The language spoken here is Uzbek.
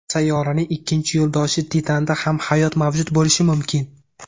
Sayyoraning ikkinchi yo‘ldoshi Titanda ham hayot mavjud bo‘lishi mumkin.